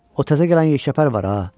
O təzə gələn yekəpər var ha?